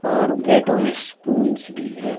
और प्लेटो में स्पूंस भी है।